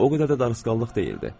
O qədər də darısqallıq deyildi.